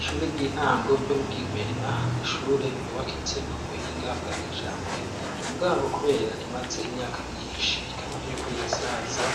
ishure ry'intango ryo mu Kigwena n'ishure ryubakitse ku buhinga bwa kijambere. Mugabo kubera rimaze imyaka myinshi, rikaba ririko rirasaza,